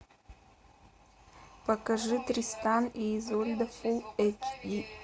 покажи тристан и изольда фул эйч ди